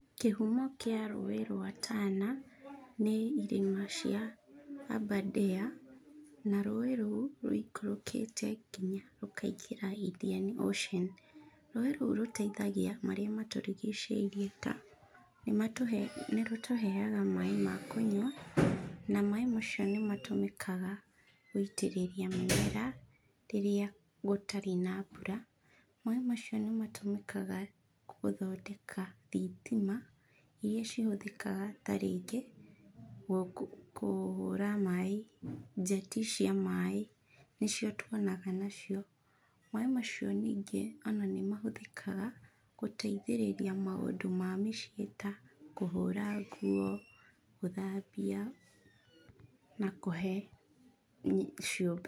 Kĩhumo kĩa rũĩ rwa Tana nĩ irĩma cia Aberdare na rũĩ rũu rũikũrũkĩte nginya rũkaingĩra Indian Ocean. Rũĩ rũu rũteithagia marĩa matũrigicĩirie ta nĩ rũtũheaga maĩ ma kũnyua na maĩ macio nĩ matũmĩkaga gũitĩrĩria mĩmera rĩrĩa gũtarĩ na mbura. Maĩ macio nĩ matũmĩkaga gũthondeka thitima irĩa cihũthĩkaga ta rĩngĩ kũhũra maĩ, njeti cia maĩ nĩcio tuonaga nacio. Maĩ macio ningĩ ona nĩ mahũthĩkaga gũteithĩrĩria maũndũ ma mũciĩ ta kũhũra nguo, gũthambia na kũhe.